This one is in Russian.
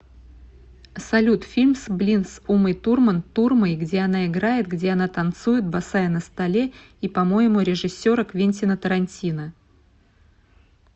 салют фильм с блин с умой турман турмой где она играет где она танцует босая на столе и по моему режиссера квентина тарантино